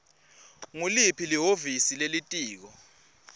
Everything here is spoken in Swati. nguliphi lihhovisi lelitiko